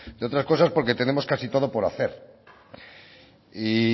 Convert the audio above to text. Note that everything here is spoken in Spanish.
entre otras cosas porque tenemos casi todo por hacer y